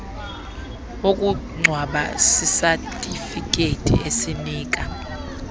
wokungcwaba sisatifiketi esinika